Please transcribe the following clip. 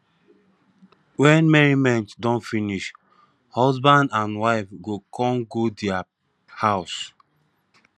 wen merriment don finish husband and wife go kon go dia house